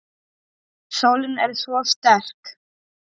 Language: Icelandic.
Sólin er svo sterk.